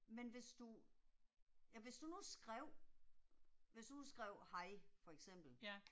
Men hvis du. Ja hvis du nu skrev. Hvis du nu skrev hej for eksempel